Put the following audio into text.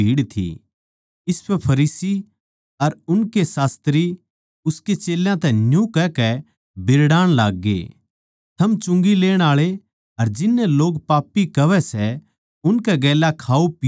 इसपै फरीसी अर उनके शास्त्री उसके चेल्यां तै न्यू कहकै बीरड़ाण लाग्गे थम चुंगी लेण आळे अर जिननै लोग पापी कहवै सै उनकै गेल्या खाओपीओ सो